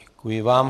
Děkuji vám.